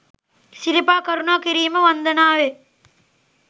සිරිපා කරුණා කිරීම වන්දනාවේ